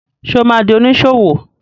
Ṣé o ma di oníṣòwò?